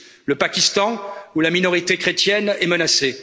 GSP. Le Pakistan, où la minorité chrétienne est menacée.